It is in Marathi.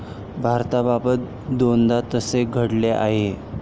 भारताबाबत दोनदा तसे घडले आहे.